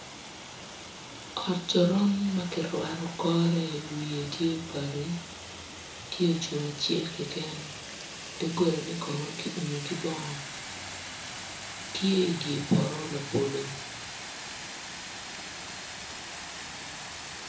Ot coron ma kirwato kore wiye tye bati tye ocung acel keken doggolane kono ki umu ki bongo tye idye poto labolo